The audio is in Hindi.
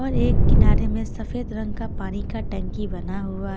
और एक किनारे में सफेद रंग का पानी का टंकी बना हुआ--